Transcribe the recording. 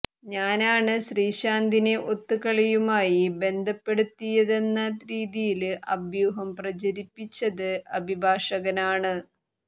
ഞാനാണ് ശ്രീശാന്തിനെ ഒത്തുകളിയുമായി ബന്ധപ്പെടുത്തിയതെന്ന രീതിയില് അഭ്യൂഹം പ്രചരിപ്പിച്ചത് അഭിഭാഷകനാണ്